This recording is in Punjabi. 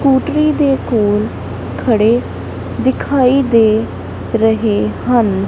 ਸਕੂਟਰੀ ਦੇ ਕੋਲ ਖੜੇ ਦਿਖਾਈ ਦੇ ਰਹੇ ਹਨ।